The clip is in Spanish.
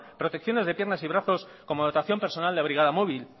protecciones de piernas y brazos como dotación personal de brigada móvil